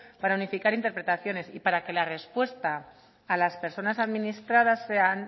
para unificar interpretaciones y para que la respuesta a las personas administradas sean